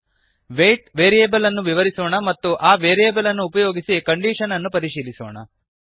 wait ವೇರಿಯೇಬಲ್ಲನ್ನು ವಿವರಿಸೋಣ ಮತ್ತು ಆ ವೇರಿಯೇಬಲ್ಲನ್ನು ಉಪಯೋಗಿಸಿ ಕಂಡೀಷನ್ನನ್ನು ಪರಿಶೀಲಿಸೋಣ